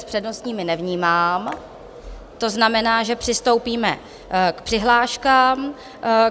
S přednostními nevnímám, to znamená, že přistoupíme k přihláškám.